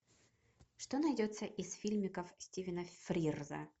что найдется из фильмиков стивена фрирза